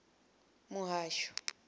muhasho